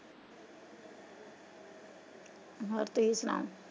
ਹੋਰ ਤੁਸੀਂ ਸੁਣਾਓ?